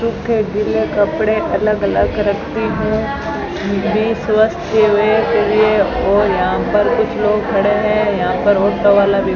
सूखे गीले कपड़े अलग अलग रखती हैं के लिए और यहां पर कुछ लोग खड़े हैं यहां पर ऑटो वाला भी --